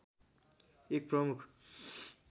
एक प्रमुख